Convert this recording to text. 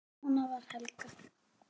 Svona var Helga.